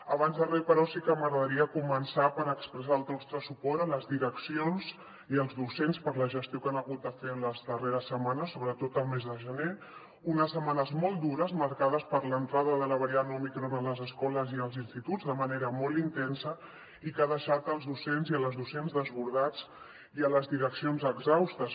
abans de res però sí que m’agradaria començar per expressar el nostre suport a les direccions i als docents per la gestió que han hagut de fer en les darreres setmanes sobretot al mes de gener unes setmanes molt dures marcades per l’entrada de la variant òmicron a les escoles i als instituts de manera molt intensa i que ha deixat els docents i les docents desbordats i les direccions exhaustes